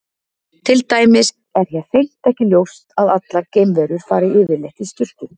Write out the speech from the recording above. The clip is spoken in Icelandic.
Til dæmis er hér hreint ekki ljóst að allar geimverur fari yfirleitt í sturtu.